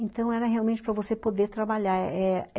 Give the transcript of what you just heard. Então, era realmente para você poder trabalhar eh eh